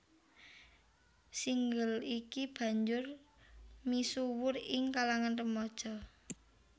Single iki banjur misuwur ing kalangan remaja